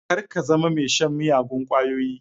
Kar ka zama mai shan miyagun kwayoyi.